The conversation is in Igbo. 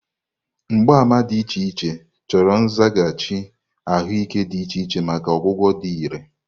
Mgbaàmà dị iche iche, chọrọ nzaghachi ahụike dị iche iche maka ọgwụgwọ dị irè.